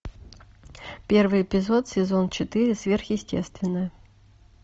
первый эпизод сезон четыре сверхъестественное